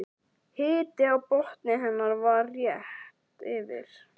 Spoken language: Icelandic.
Hiti á botni hennar var rétt yfir